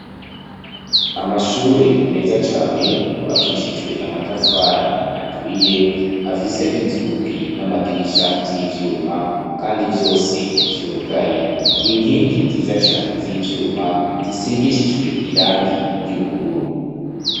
Amashure meza cane yubakishijwe amatafari aturiye afise inzugi n'amadirisha vy'ivyuma, kandi vyose vyugaye inkingi nziza cane z'ivyuma zisigishijwe irangi ry'ubururu.